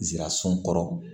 Nsirasun kɔrɔ